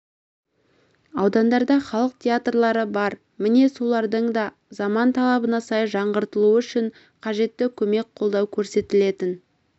аудандарда халық театрлары бар міне солардың да заман талабына сай жаңғыртылуы үшін қажетті көмек-қолдау көрсетілетін